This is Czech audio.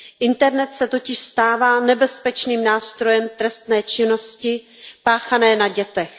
Internet se totiž stává nebezpečným nástrojem trestné činnosti páchané na dětech.